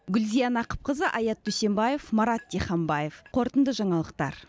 гүлзия нақыпқызы аят дүйсембаев марат диханбаев қорытынды жаңалықтар